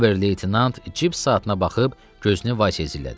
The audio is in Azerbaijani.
Ober leytenant cib saatına baxıb gözünü Vasiyə zillədi.